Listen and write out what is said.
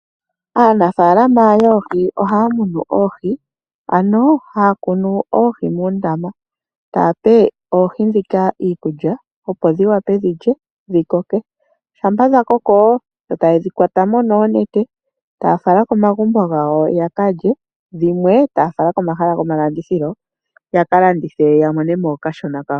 Aanafaalama yoohi ohaya munu oohi , ano haya kunu oohi moombaanga, taya pe oohi ndhika iikulya opo dhiwape dhikoke, ngele dhakoko ohaye dhi kwatamo noonete taya fala komagumbo gawo yakalye , dhimwe taya fala komahala gomashingitho yaka landithe yamonemo okashona kawo.